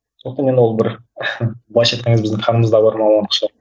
сондықтан да енді ол бір былайша айтқан кезде біздің қанымызда бар мамандық шығар